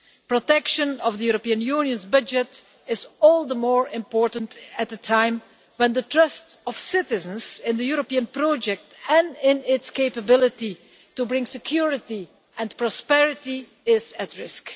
Protection of the European Union's budget is all the more important at a time when the trust of citizens in the European project and in its capability to bring security and prosperity is at risk.